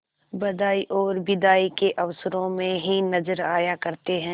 बधाई और बिदाई के अवसरों ही में नजर आया करते हैं